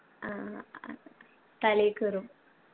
ആ ഏർ തലേ കേറും